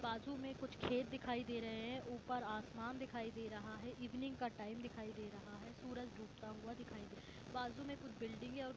बाजु मे कुछ खेत दिखाई दे रहे है उपर आसमान दिखाई दे रहा है इवनिंग का टाइम दिखाई दे रहा है सूरज डूबता हुआ दिखाई दे रहा है बाजु में कुछ बिल्डिंग और--